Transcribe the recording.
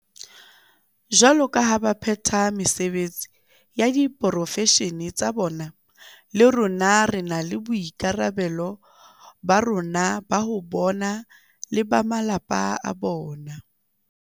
Jwaloka ha ba phetha mesebetsi ya diporofeshene tsa bona, le rona re na le boikarabelo ba rona ho bona le ba malapa a bona.